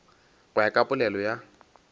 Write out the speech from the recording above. go ya ka polelo ya